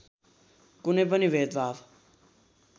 कुनै पनि भेदभाव